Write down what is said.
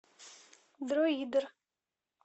дроидер